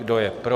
Kdo je pro?